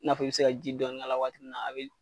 I n'a fɔ i bi se ka ji dɔɔni k'a la waati mun na, a be